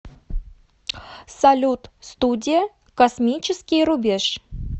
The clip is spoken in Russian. салют студия космический рубеж